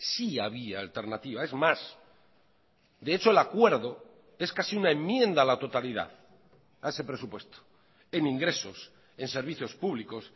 sí había alternativa es más de hecho el acuerdo es casi una enmienda a la totalidad a ese presupuesto en ingresos en servicios públicos